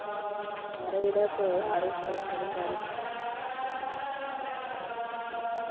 ആരുടെ കൂടെയാ പോകാറ് dress എടുക്കാൻ